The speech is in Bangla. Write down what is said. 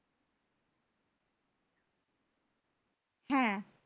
হ্যাঁ